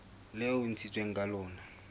leo e ntshitsweng ka lona